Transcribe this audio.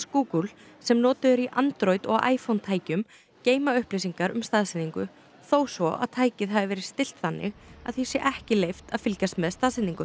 Google sem notuð eru í Android og iPhone tækjum geyma upplýsingar um staðsetningu þó svo að tækið hafi verið stillt þannig að því sé ekki leyft að fylgjast með staðsetningu